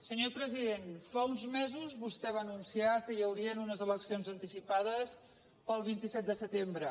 senyor president fa uns mesos vostè va anunciar que hi haurien unes eleccions anticipades per al vint set de setembre